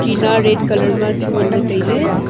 tina red colour ma chu ngan ley tai ley.